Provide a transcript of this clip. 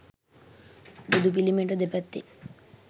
බුදු පිළිමයට දෙපැත්තෙන්